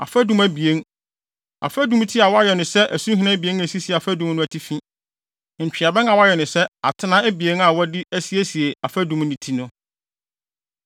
Afadum abien, afadumti a wɔayɛ no sɛ asuhina abien a esisi afadum no atifi, ntweaban a wɔayɛ no sɛ atena abien a wɔde asiesie afadumti no,